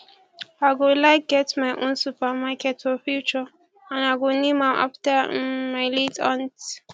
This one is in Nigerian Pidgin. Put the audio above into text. i go like get my own supermarket for future and i go name am after um my late aunt